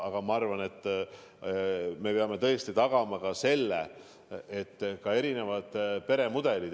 Aga ma arvan, et me peame tõesti tagama ka selle, et võivad olla erinevad peremudelid.